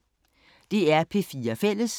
DR P4 Fælles